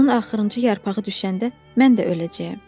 Onun axırıncı yarpağı düşəndə mən də öləcəyəm.